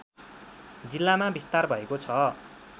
जिल्लामा विस्तार भएको छ